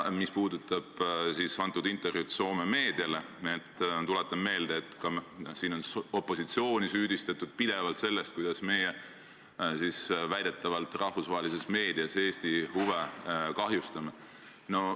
Mis puudutab Soome meediale antud intervjuud, siis tuletan meelde, et siin on pidevalt süüdistatud opositsiooni selles, kuidas meie väidetavalt rahvusvahelises meedias Eesti huve kahjustame.